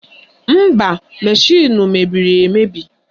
Mba, mashịnụ mebiri emebi